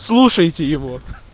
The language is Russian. слушайте его